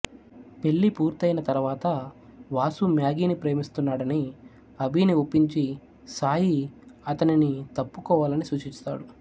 పెళ్ళి పూర్తయిన తరువాత వాసు మ్యాగీని ప్రేమిస్తున్నాడని అభిని ఒప్పించి సాయి అతనిని తప్పుకోవాలని సూచిస్తాడు